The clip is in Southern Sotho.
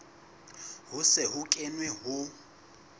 ho se ho kenwe ho